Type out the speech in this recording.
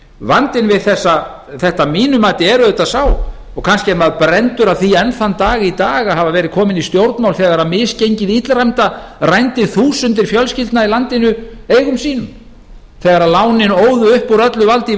vandinn við þetta að mínu geti er auðvitað sá og kannski er maður brenndur af því enn þann dag í dag að hafa verið kominn í stjórnmál þegar misgengið illræmda rændi þúsundir fjölskyldna í landinu eigum sínum þegar lánin óðu upp úr öllu valdi í